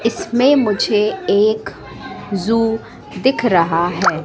इसमें मुझे एक जू दिख रहा है।